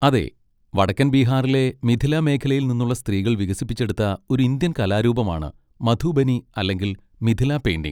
അതെ, വടക്കൻ ബീഹാറിലെ മിഥില മേഖലയിൽ നിന്നുള്ള സ്ത്രീകൾ വികസിപ്പിച്ചെടുത്ത ഒരു ഇന്ത്യൻ കലാരൂപമാണ് മധുബനി അല്ലെങ്കിൽ മിഥില പെയിന്റിംഗ്.